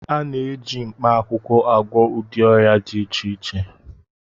A na-eji mkpaakwụkwọ agwọ ụdị ọrịa dị iche iche